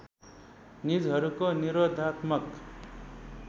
निजहरूको निरोधात्मक